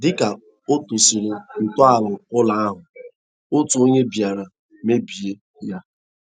Dika ọ tọsịrị ntọala ụlọ ahụ, otu onye bịara mebie ya..